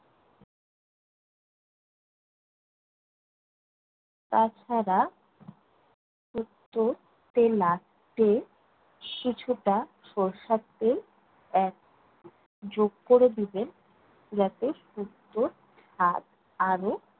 তা ছাড়া শুক্তোতে last এ কিছুটা সরিষার তেল add যোগ করে দিবেন যাতে শুক্তোর স্বাদ আরও